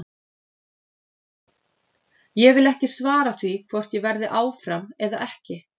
Ég vil ekki svara því hvort ég verði áfram eða ekki.